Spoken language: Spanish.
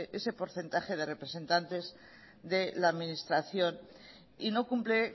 ese porcentaje de representantes de la administración y no cumple